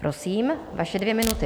Prosím, vaše dvě minuty.